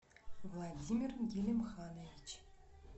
владимир гелимханович